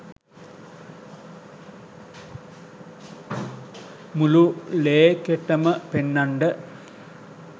මුළු ලේකෙටම පෙන්නන්ඩ